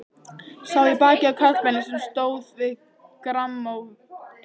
Sá í bakið á karlmanni sem stóð við grammófóninn.